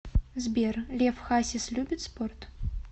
сбер лев хасис любит спорт